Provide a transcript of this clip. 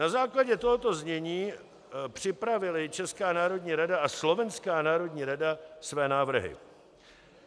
Na základě tohoto znění připravily Česká národní rada a Slovenská národní rada své návrhy.